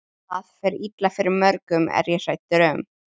Þá fer illa fyrir mörgum er ég hræddur um.